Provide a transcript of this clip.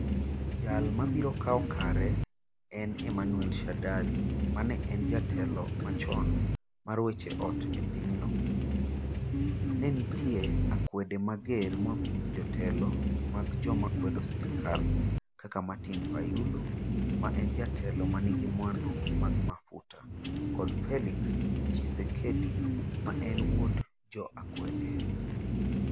Jal ma biro kawo kare en Emmanuel Shadary, ma ne en jatelo machon mar weche ot e pinyno. Ne nitie akwede mager moa kuom jotelo mag joma kwedo sirkal, kaka Martin Fayulu, ma en jatelo ma nigi mwandu mag mafuta, kod Felix Tshisekedi, ma en wuod jo akwede.